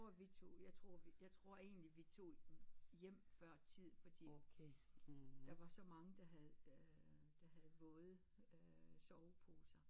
Jeg tror vi tog jeg tror vi tror egentlig vi tog hjem før tid fordi der var så mange der havde øh der havde våde øh soveposer